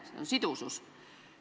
See oli "sidusus".